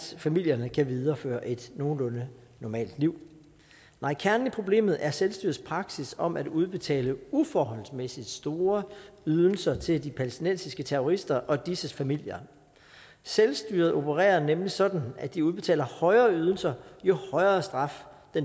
familierne kan videreføre et nogenlunde normalt liv nej kernen i problemet er selvstyrets praksis om at udbetale uforholdsmæssigt store ydelser til de palæstinensiske terrorister og disses familier selvstyret opererer nemlig sådan at de udbetaler højere ydelse jo højere straf den